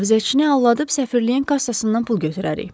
Mühafizəçini aldadıb səfirliyin kassasından pul götürərik.